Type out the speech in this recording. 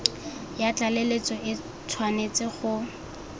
ya tlaleletso e tshwanetse go